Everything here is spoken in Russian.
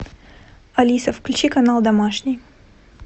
алиса включи канал домашний